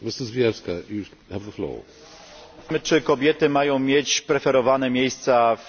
czy kobiety mają mieć preferowane miejsca w takim czy innym miejscu w spółkach.